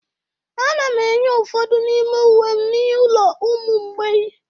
Ana m enye ụfọdụ n'ime uwe m n'ụlọ ụmụ mgbei